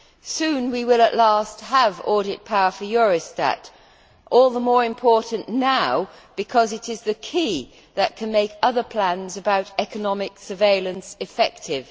Soon, we will at last have audit power for Eurostat, all the more important now because it is the key that can make other plans about economic surveillance effective.